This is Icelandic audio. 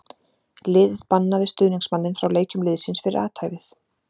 Liðið bannaði stuðningsmanninn frá leikjum liðsins fyrir athæfið.